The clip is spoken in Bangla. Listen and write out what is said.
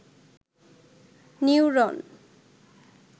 নিউরন